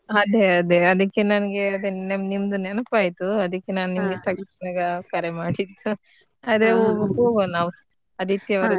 ಅದೇ ಅದೇ ಅದ್ಕೆ ನನ್ಗೆ ನಿಮ್ದು ನೆನಪು ಆಯ್ತ್ ಅದ್ಕೆ ನಾನ್ ನಿಮಗೆ ತಕ್ಷಣ ಕರೆ ಮಾಡಿದ್ದು ಅದೇ ನಾವ್ ಹೋಗುವ ಆದಿತ್ಯವಾರ ದಿವಸ.